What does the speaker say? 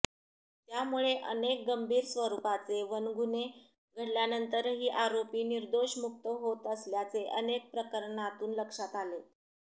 त्यामुळे अनेक गंभीर स्वरुपाचे वनगुन्हे घडल्यानंतरही आरोपी निर्दोष मुक्त होत असल्याचे अनेक प्रकरणांतून लक्षात आले